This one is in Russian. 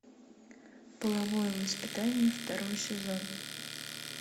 половое воспитание второй сезон